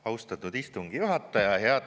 Austatud istungi juhataja!